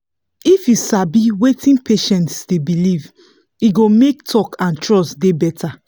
if you sabi wetin patient dey believe e go make talk and trust dey better.